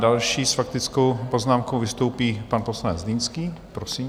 Další s faktickou poznámkou vystoupí pan poslanec Zlínský, prosím.